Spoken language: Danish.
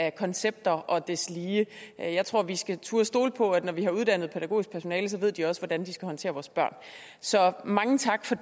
af koncepter og deslige jeg tror at vi skal turde stole på at når vi har uddannet pædagogisk personale ved de også hvordan de skal håndtere vores børn så mange tak for